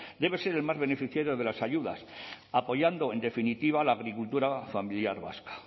debe ser el más beneficiado de las ayudas apoyando en definitiva la agricultura familiar vasca